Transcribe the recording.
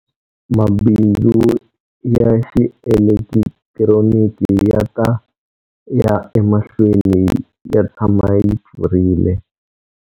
Mabindzu ya xielekitironiki ya ta ya emahlweni yi tshama yi pfurile.